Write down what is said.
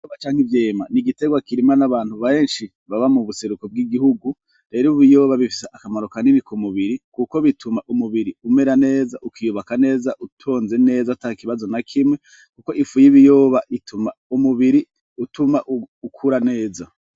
Ibiyoba canke ivyema n'igiterwa kirimwa n'abantu beshi baba mu buseru bw'igihugu rero ibiyoba bifise akamaro ku mubiri kuko bituma umubiri umera neza ukiyubaka neza utonze neza atakibazo na kimwe kuko ifu y'ibiyoba utuma umubiri utuma ukura neza.